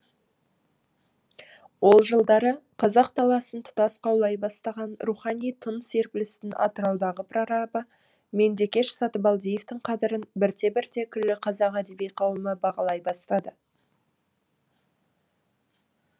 ол жылдары қазақ даласын тұтас қаулай бастаған рухани тың серпілістің атыраудағы прорабы меңдекеш сатыбалдиевтің қадірін бірте бірте күллі қазақ әдеби қауымы бағалай бастады